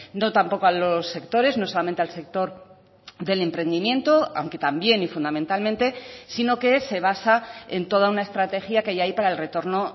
no tampoco a los sectores no solamente al sector del emprendimiento aunque también y fundamentalmente sino que se basa en toda una estrategia que ya hay para el retorno